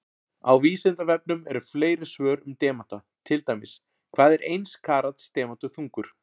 Á Vísindavefnum eru fleiri svör um demanta, til dæmis: Hvað er eins karats demantur þungur?